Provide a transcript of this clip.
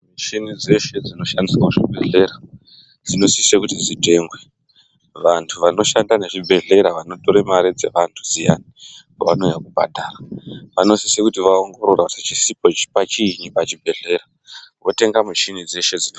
Michini dzeshe dzinoshandiswa muzvibhedhlera dzinosisa kuti dzitengwe, vanhtu vanoshanda nezvibhedhlera vanotora mari dzevantu dziya vanouya kubhadhara, vanosisa kuti vaongorore kuti chisipo chini pachibhedhlera votenga michini dzese dzinodiwa.